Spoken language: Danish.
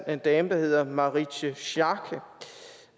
en dame der hedder marietje schaake